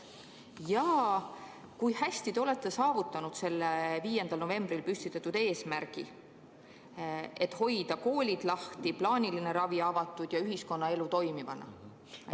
Ja kui hästi te olete saavutanud selle 5. novembril püstitatud eesmärgi, et hoida koolid lahti, plaaniline ravi avatud ja ühiskonnaelu toimivana?